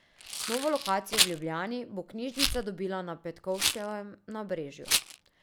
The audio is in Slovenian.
Novo lokacijo v Ljubljani bo knjižnica dobila na Petkovškovem nabrežju.